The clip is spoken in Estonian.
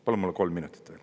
Palun mulle kolm minutit veel.